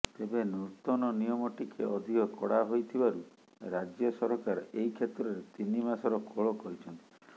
ତେବେ ନୂତନ ନିୟମ ଟିକେ ଅଧିକ କଡ଼ା ହୋଇଥିବାରୁ ରାଜ୍ୟସରକାର ଏହି କ୍ଷେତ୍ରରେ ତିନିମାସର କୋହଳ କରିଛନ୍ତି